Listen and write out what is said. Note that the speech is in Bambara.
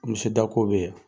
Dako bɛ yen.